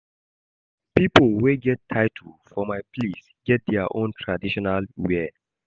Pipo wey get title for my place get their own traditional wear.